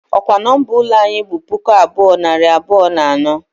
Ọ kwa nọmba ụlọ anyị bụ puku abuo, nari abụọ na anọ?